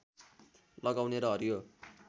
लगाउने र हरियो